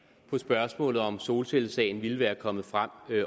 på spørgsmålet om hvorvidt solcellesagen ville være kommet frem